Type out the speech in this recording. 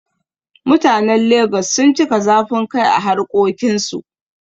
Mutanen Lagos sun cika zafin rai a harƙokin su